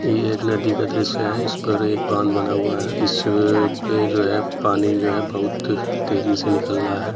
ये एक नदी का दृश्य है। इस पर एक बांध बना हुआ है। इसपे जो है पानी जो है बहोत तेजी से निकल रहा है।